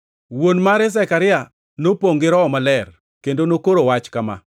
Wuon mare Zekaria nopongʼ gi Roho Maler kendo nokoro wach kama: